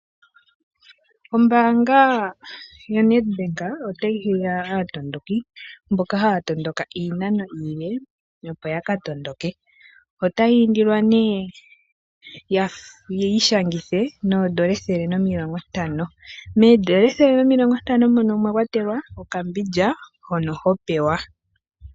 Ombanga yaNetbank otayi hiya aatondoki mboka haya tondoka iinano iile opo yaka tondoke. Otayi indilwa yi ishangithe noondola ethele nomilongo ntano, moondola ethele nomilongo mono omwa kwatelwa okambindja hono ho pewa.